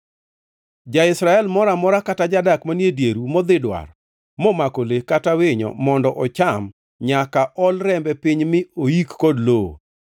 “ ‘Ja-Israel moro amora kata jadak manie dieru modhi dwar, momako le kata winyo mondo ocham, nyaka ol rembe piny mi oik kod lowo,